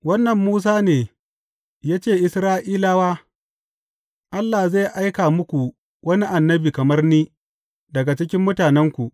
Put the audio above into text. Wannan Musa ne ya ce Isra’ilawa, Allah zai aika muku wani annabi kamar ni daga cikin mutanenku.’